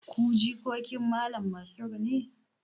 Ku jikokin Malam Mansur ne?